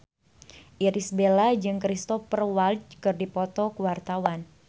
Irish Bella jeung Cristhoper Waltz keur dipoto ku wartawan